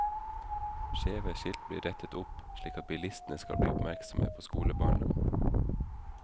Skjeve skilt blir rettet opp, slik at bilistene skal bli oppmerksomme på skolebarna.